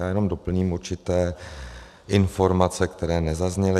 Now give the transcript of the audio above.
Já jenom doplním určité informace, které nezazněly.